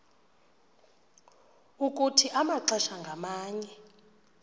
ukuthi amaxesha ngamanye